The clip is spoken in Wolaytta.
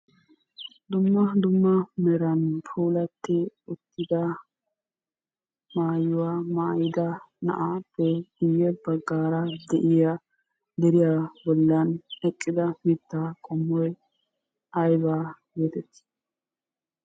Dumma dumma meran puulatti uttida maayuwa mayida na'aappe guyye baggaara de'iyaa deriya bollan eqqida mittaa qommoy aybaa geetettii?